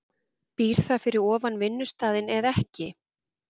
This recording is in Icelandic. Býr það fyrir ofan vinnustaðinn eða ekki?